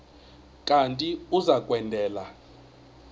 kanti uia kwendela